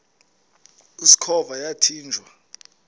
usikhova yathinjw a